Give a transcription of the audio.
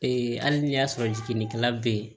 hali n'i y'a sɔrɔ jiginnikɛla be ye